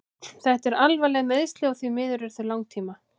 Þetta eru alvarleg meiðsli og því miður eru þau langtíma.